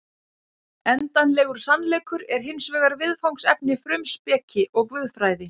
Endanlegur sannleikur er hins vegar viðfangsefni frumspeki og guðfræði.